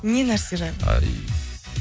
не нәрсе жайлы